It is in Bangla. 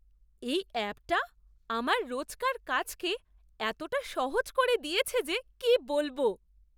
এই অ্যাপটা আমার রোজকার কাজকে এতটা সহজ করে দিয়েছে যে কি বলবো!